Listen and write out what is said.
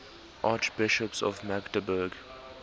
archbishops of magdeburg